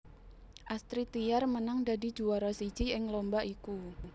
Astrid Tiar menang dadi juwara siji ing lomba iku